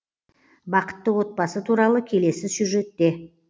бақытты отбасы туралы келесі сюжетте